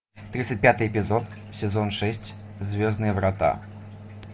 тридцать пятый эпизод сезон шесть звездные врата